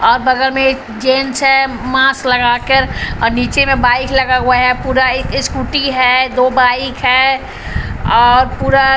बगल में जेंट्स है मास्क लगाकर और नीचे में बाइक लगा हुआ है पूरा स्कूटी है दो बाइक हैऔर पूरा--